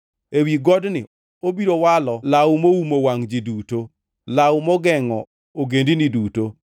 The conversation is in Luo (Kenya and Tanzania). Ewi godni obiro walo law moumo wangʼ ji duto, law mogengʼo ogendini duto;